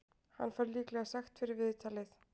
Hann fær líklega sekt fyrir viðtalið.